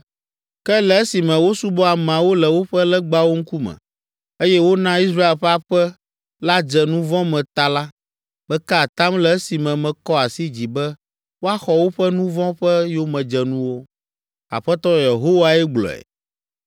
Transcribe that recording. Ke, le esime wosubɔ ameawo le woƒe legbawo ŋkume, eye wona Israel ƒe aƒe la dze nu vɔ̃ me ta la, meka atam le esime mekɔ asi dzi be woaxɔ woƒe nu vɔ̃ ƒe yomedzenuwo. Aƒetɔ Yehowae gblɔe.